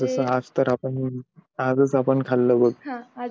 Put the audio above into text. आज तर आपण आजच आपण खाल्लं ते